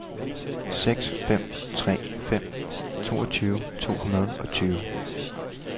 seks fem tre fem toogtyve to hundrede og tyve